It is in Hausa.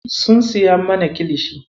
Sun siya mana kilishi.